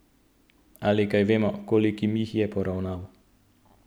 Ali kaj vemo, kolikim jih je poravnal?